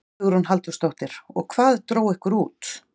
Hugrún Halldórsdóttir: Og hvað dró ykkur út?